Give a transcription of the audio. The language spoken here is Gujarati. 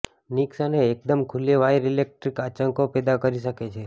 નિક્સ અને એકદમ ખુલ્લી વાયર ઇલેક્ટ્રિક આંચકો પેદા કરી શકે છે